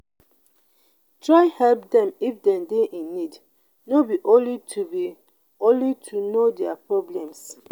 try help dem if them de in need no be only to be only to know their problems